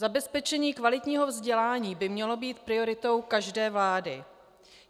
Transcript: Zabezpečení kvalitního vzdělání by mělo být prioritou každé vlády.